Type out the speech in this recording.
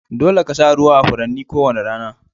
Dolle ka sa ruwa a Furannin ko wani rana.